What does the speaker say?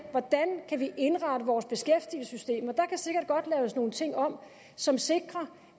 hvordan vi kan indrette vores beskæftigelsessystem og der kan sikkert godt laves nogle ting om som sikrer